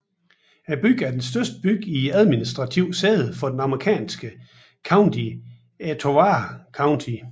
Byen er den største by i og administrivt sæde for det amerikanske county Etowah County